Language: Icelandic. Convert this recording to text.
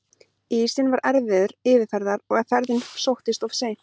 Ísinn var erfiður yfirferðar og ferðin sóttist of seint.